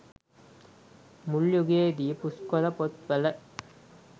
මුල් යුගයේදී පුස්කොළ පොත් වල